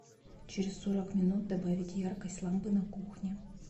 через сорок минут добавить яркость лампы на кухне